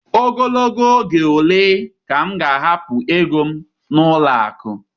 Ogologo oge ole ka m ga-ahapụ ego m n'ụlọ akụ?